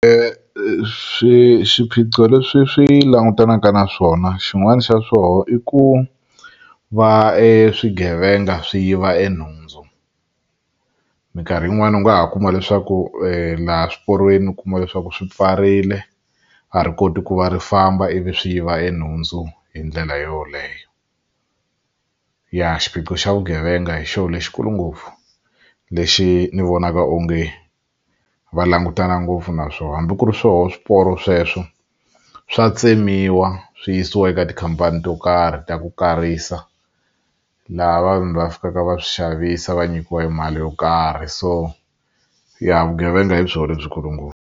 Swiphiqo leswi swi langutanaka na swona xin'wani xa swona i ku va e swigevenga swi yiva enhundzu minkarhi yin'wani u nga ha kuma leswaku laha swiporweni u kuma leswaku swi pfarile a ri koti ku va ri famba ivi swi yiva enhundzu hi ndlela yoleyo ya xiphiqo xa vugevenga hi xona lexikulu ngopfu lexi ni vonaka onge va langutana ngopfu naswona hambi ku ri swona swiporo sweswo swa tsemiwa swi yisiwa eka tikhampani to karhi ta ku karisa laha vanhu va fikaka va swi xavisa va nyikiwa mali yo karhi so ya vugevenga hi byona lebyikulu ngopfu.